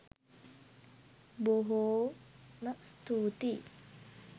බොහෝ.ම ස්තූතියි!